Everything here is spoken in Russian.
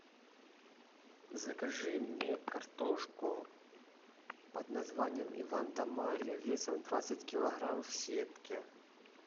закажи мне картошку под названием иван да марья весом двадцать килограмм в сетке